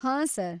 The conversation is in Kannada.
ಹಾಂ ಸರ್.